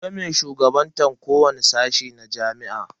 Akwai mai shugabantan kowani sashi na jami'a.